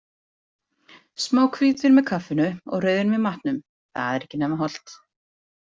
Smá hvítvín með kaffinu og rauðvín með matnum, það er ekki nema hollt.